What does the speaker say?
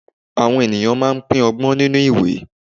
awọn ènìyàn ma n pin ọgbọ́n nínú òwe